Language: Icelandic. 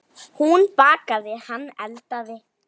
Hún bakaði, hann eldaði.